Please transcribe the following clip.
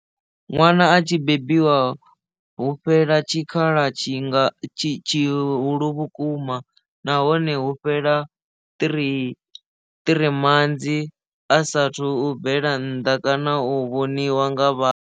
Ṅwana a tshi bebiwa hu fhela tshikhala tshi nga tshihulu vhukuma nahone hu fhela three three manzi a saathu bvela nnḓa kana u vhoniwa nga vhathu.